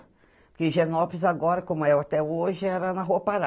Porque Genópolis agora, como é até hoje, era na Rua Pará.